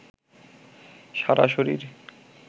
সারা শরীর